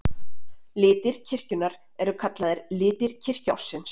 Litir kirkjunnar eru kallaðir litir kirkjuársins.